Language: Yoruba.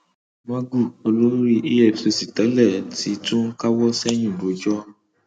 magu olórí efcc tẹlẹ ti tún ń káwọ sẹyìn rojọ